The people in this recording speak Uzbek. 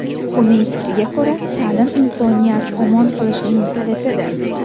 Uning fikriga ko‘ra, ta’lim insoniyat omon qolishining kalitidir.